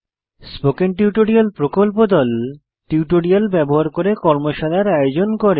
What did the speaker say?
spoken tutorial প্রকল্প দল tutorial ব্যবহার করে কর্মশালার আয়োজন করে